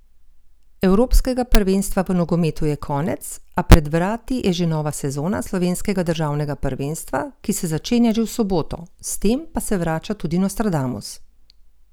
Evropskega prvenstva v nogometu je konec, a pred vrati je že nova sezona slovenskega državnega prvenstva, ki se začenja že v soboto, s tem pa se vrača tudi Nostradamus!